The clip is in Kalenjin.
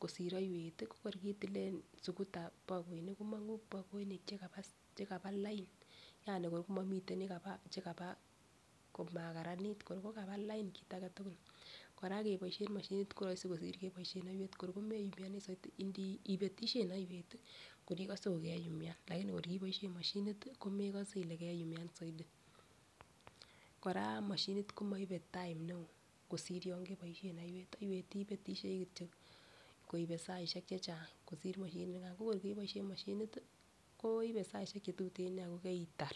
kosir oiwet tii ko kor kiitilen sukuta bokoinik komongu bokoinik chekaba lain yanikor komomiten chekaba chekaba komakaranit kor ko kaba lain kit agetukul. Koraa keboishen moshinit ko roisi kosir keboishen oiwet kor ko meyumioni soiti inibeishen oiwet tii kor ikose kokeyumyan lakini kor kiboishen moshinit tii komekose Ile keyumyan soiti. Koraa moshinit komoibe time neo kosir yon keboishen oiwet, oiwet ibetishei kityok koibe saishek chechang kosir moshinit nikan. Ko kor keboishen moshinit tii ko ibe saishek chetuten nia kokeitar.